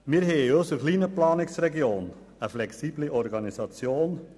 Wir haben in unserer kleinen Planungsregion eine flexible Organisation.